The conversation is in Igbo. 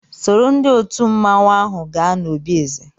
Sòró ndị òtù mmanwu áhù gaa n'òbi èzè